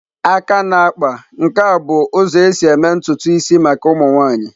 Aka na-akpa nke a bụ ụzọ esi eme ntutu isi maka ụmụ nwaanyị.